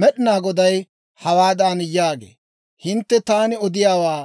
«Med'inaa Goday hawaadan yaagee; ‹Hintte taani odiyaawaa